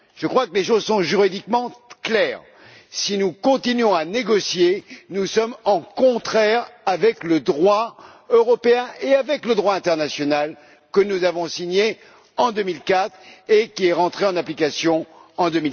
Je crois que les choses sont juridiquement claires si nous continuons à négocier, nous sommes en contradiction avec le droit européen ainsi qu'avec le droit international que nous avons signé en 2004 et qui est entré en application en